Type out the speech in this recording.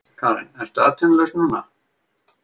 Karen: Ertu atvinnulaus núna?